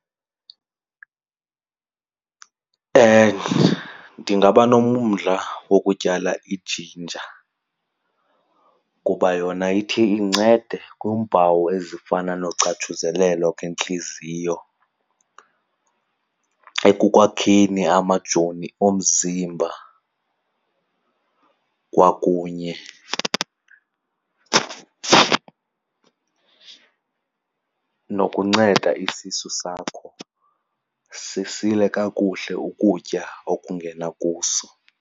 Ndingaba nomdla wokutyala ijinja kuba yona ithi incede kwiimpawu ezifana nocatshuzelelo kwentliziyo, ekukwakheni amajoni omzimba kwakunye nokunceda isisu sakho sisile kakuhle ukutya okungena kuso.